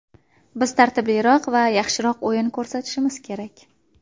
Biz tartibliroq va yaxshiroq o‘yin ko‘rsatishimiz kerak.